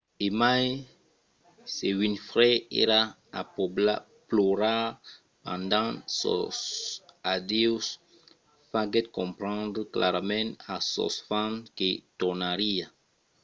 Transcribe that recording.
e mai se winfrey èra a plorar pendent sos adieus faguèt comprendre clarament a sos fans que tornariá